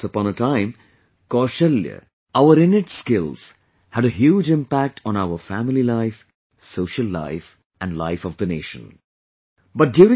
once upon a time, Kaushalya, our innate skills had a huge impact on our family life, social life and life of the natio